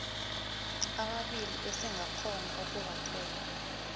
ababili esingakghona ukubathola